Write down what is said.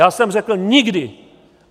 Já jsem řekl - nikdy!